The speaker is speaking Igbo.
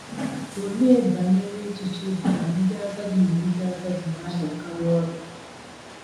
Olee banyere echiche bụ́ na ndị agadi na ndị agadi na - arịakarị ọrịa?